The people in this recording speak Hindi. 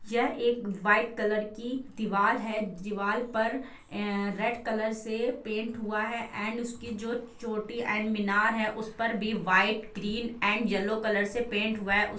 यह एक व्हाइट कलर की दीवाल है दीवाल पर अ रेड कलर से पेंट हुआ है एण्ड उसकी जो चोटी एण्ड मीनार है उस पर भी white green and yellow colour से पेंट हुआ है उ --